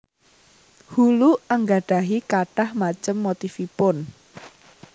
Hulu anggadhahi kathah macem motifipun